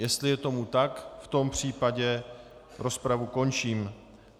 Jestli je tomu tak, v tom případě rozpravu končím.